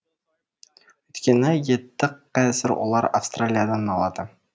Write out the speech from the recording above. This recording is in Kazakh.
өйткені етті қазір олар австралиядан алады